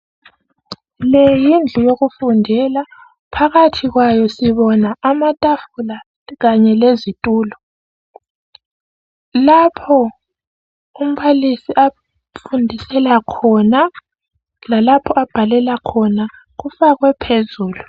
Le yindlu yokufundela phakathi kwayo sibona amatafula kanye lezitulo lapho umbalisi afundisela khona lalapha abhalela khona kufakwe phezulu.